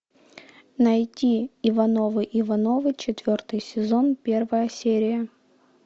найти ивановы ивановы четвертый сезон первая серия